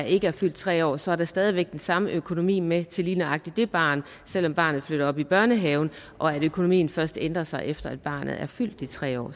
ikke er fyldt tre år så er der stadig væk den samme økonomi med til lige nøjagtig det barn selv om barnet flytter op i børnehaven og at økonomien først ændrer sig efter at barnet er fyldt de tre år